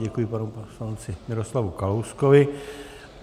Děkuji panu poslanci Miroslavu Kalouskovi.